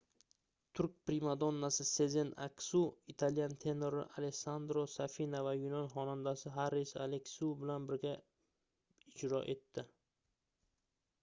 turk primadonnasi sezen aksu italyan tenori alessandro safina va yunon xonandasi haris aleksiu bilan birga ijro etdi